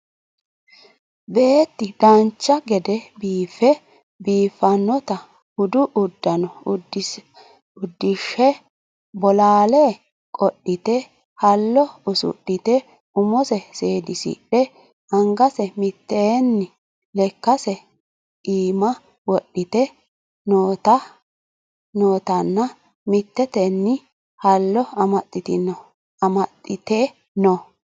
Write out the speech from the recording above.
beett dancha gede biiffe biiffannota budu uddano uddishe bolaale qodhite hallo usudhite umose seedisidhe angase mittetenni lekkase iima wodhite nootanna mittetenni hallo amaxxite no